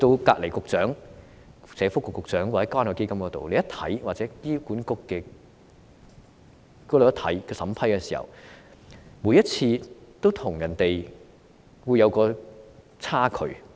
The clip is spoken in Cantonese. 當勞工及福利局局長負責的關愛基金或醫管局每次審批時，都會看到有差距。